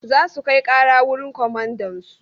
Za su kai ƙara wurin komandansu.